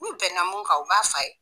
N'u bɛnna mun kan u b'a f'a ye